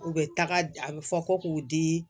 U bɛ taga a bɛ fɔ ko k'u di